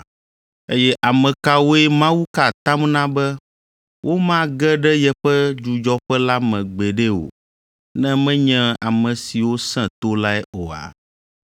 Eye ame kawoe Mawu ka atam na be womage ɖe yeƒe dzudzɔƒe la me gbeɖe o, ne menye ame siwo sẽ to lae oa?